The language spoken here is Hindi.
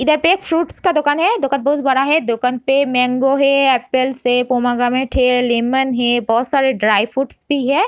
इधर पे एक फ्रूट्स का दुकान है | दुकान बहुत बड़ा है | दुकान पे मैंगो है एप्पल है पोमाग्रेनेट है लेमन है बहुत सारे ड्राई फ्रूट्स भी है |